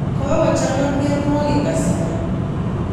Kokochang'a mianwek kasari